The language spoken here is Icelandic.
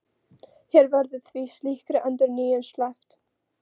Hér verður því slíkri endurnýjun sleppt.